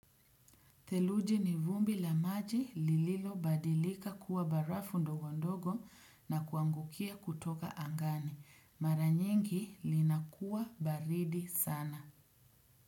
Theluji ni vumbi la maji lililo badilika kuwa barafu ndogo ndogo na kuangukia kutoka angani. Mara nyingi linakuwa baridi sana.